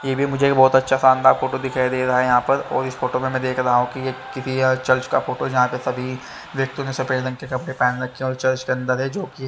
ये भी मुझे बहोत आछ्या सा शानदार फोटो दिखाई दे रहा है यहाँ पर और इस फोटो में मै देख रहा हु की की यह चर्च का फोटो है जहा पे सभी व्यक्तियोंने सफ़ेद रंग के कपडे पहने हुए है जो चर्च के अंदर है जो की --